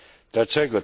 Dlaczego?